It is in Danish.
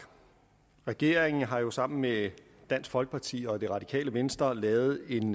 regeringen har jo sammen med dansk folkeparti og det radikale venstre lavet en